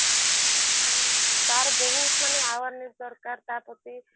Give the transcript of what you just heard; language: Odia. ହୁଁ ତାର ମାନେ ବହୁତ ମାନେ awareness ଦରକାର ତା ପ୍ରତି